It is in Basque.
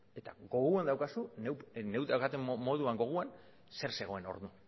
eta gogoan daukazu neuk gogoan daukadan moduan zer zegoen hor